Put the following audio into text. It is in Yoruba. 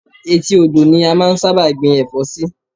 Etí odò ni a máa ń sábà gbin ẹ̀fọ́ sí